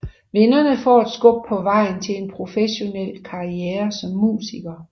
Vinderne får et skub på vejen til en professionel karriere som musiker